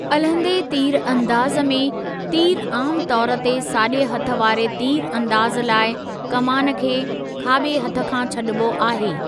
अलहंदे तीर अंदाज़ में, तीर आमु तौर ते साॼे हथु वारे तीर अंदाज़ु लाइ कमान खे खाॿे हथ खां छॾिबो आहे।